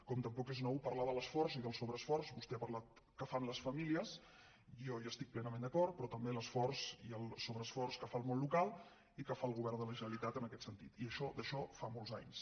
com tampoc és nou parlar de l’esforç i del sobreesforç vostè n’ha parlat que fan les famílies jo hi estic plenament d’acord però també l’esforç i el sobreesforç que fa el món local i que fa el govern de la generalitat en aquest sentit i d’això en fa molts anys